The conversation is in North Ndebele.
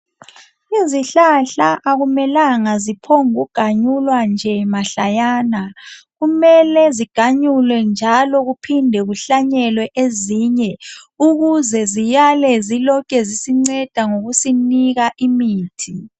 Izihlahla akumelanga ziphonguganyulwa mahlayana. Kumele ziganyulwe njalo kuphindwe kuhlanyelwe ezinye ukuze ziyale zisinika imithi.